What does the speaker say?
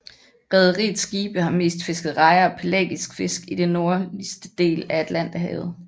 Rederiets skibe har mest fisket rejer og pelagisk fisk i det nordligste del af Atlanterhavet